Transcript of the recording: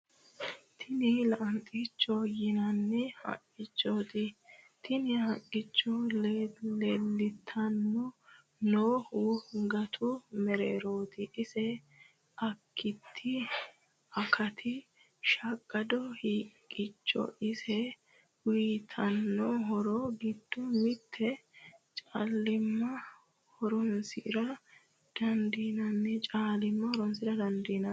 Tinni lanixichote yinanni haqichoti tinni haqicho leelitano noohu gatu mererooti. ise akiti shaqado haqichoti. Ise uyiitano horro giddo mitte caalima horronsira dandinanni.